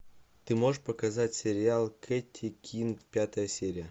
ты можешь показать сериал кэти кин пятая серия